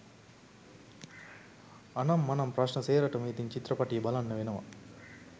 අනං මනං ප්‍රශ්ණ සේරටම ඉතිං චිත්‍රපටිය බලන්න වෙනවා